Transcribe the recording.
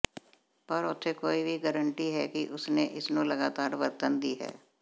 ਪਰ ਉੱਥੇ ਕੋਈ ਵੀ ਗਰੰਟੀ ਹੈ ਕਿ ਉਸ ਨੇ ਇਸ ਨੂੰ ਲਗਾਤਾਰ ਵਰਤਣ ਦੀ ਹੈ